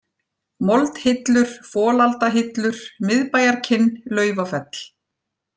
Moldhillur, Folaldahillur, Miðbæjarkinn, Laufafell